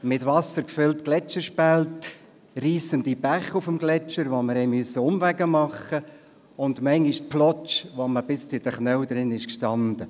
Mit Wasser gefüllte Gletscherspalten, reissende Bäche auf dem Gletscher, die uns zu Umwegen zwangen, und manchmal auch Matsch, in dem man bis zu den Knien versank.